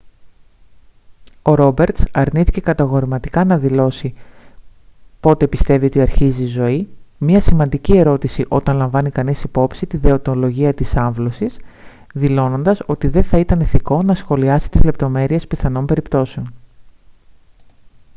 ο ρόμπερτς αρνήθηκε κατηγορηματικά να δηλώσει πότε πιστεύει ότι αρχίζει η ζωή μια σημαντική ερώτηση όταν λαμβάνει κανείς υπόψη τη δεοντολογία της άμβλωσης δηλώνοντας ότι δεν θα ήταν ηθικό να σχολιάσει τις λεπτομέρειες πιθανών περιπτώσεων